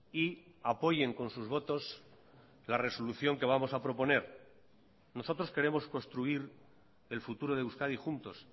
y apoyen con sus votos la resolución que vamos a proponer nosotros queremos construir el futuro de euskadi juntos